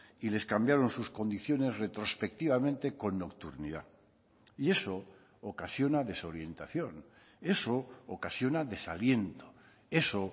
y les cambiaron sus condiciones retrospectivamente con nocturnidad y eso ocasiona desorientación eso ocasiona desaliento eso